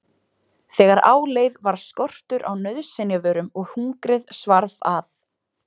Þegar á leið varð skortur á nauðsynjavörum og hungrið svarf að.